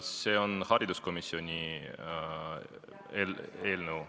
See on kultuurikomisjonis arutatav eelnõu.